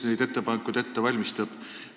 Kes neid ettepanekuid ette valmistab?